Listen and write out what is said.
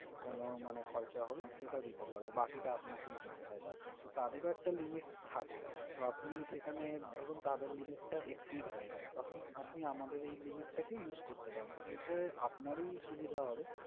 কোন মানে খরচা হল সেটা দিতে পারবো বাকিটা আপনাকেই দিতে হয় তারপর, তো তাদেরও একটা limit থাকে তো আপনি সেখানে ধরুন তাদের limit টা exceed হয়ে গেলো তখন আপনি আমাদের এই limit টা use করতে পারবেন তো এতে আপনারই সুবিধা হবে।